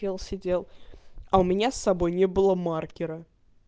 я сидел а у меня с собой не было маркера